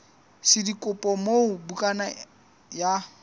sa dikopo moo bukana ya